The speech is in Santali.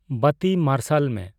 ᱵᱟᱹᱛᱤ ᱢᱟᱨᱥᱟᱞ ᱢᱮ